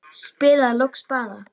Spilaði loks spaða.